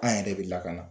An yɛrɛ bɛ lakana